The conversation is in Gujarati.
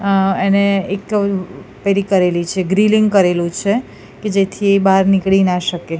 અહ એને એક પેરી કરેલી છે ગ્રીલિંગ કરેલુ છે કે જેથી બાર નીકળી ના શકે.